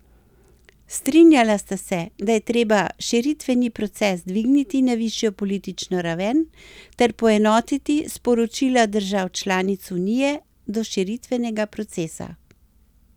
Strinjala sta se, da je treba širitveni proces dvigniti na višjo politično raven ter poenotiti sporočila držav članic unije do širitvenega procesa.